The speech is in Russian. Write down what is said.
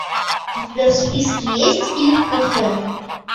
у тебя в списке есть фильм кафе